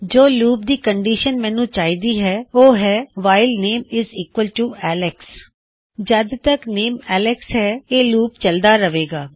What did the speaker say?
ਜੋ ਲੂਪ ਦੀ ਕੰਨਡਿਸ਼ਨ ਮੈਨੂੰ ਚਾਹੀਦੀ ਹੈ ਓਹ ਹੈ - while the name is equal to Alex while the name Alex ਜਦ ਤੱਕ ਨੇਮਐੱਲਕਸ ਹੈ ਇਹ ਲੂਪ ਚਲਦਾ ਰਹੇ ਗਾ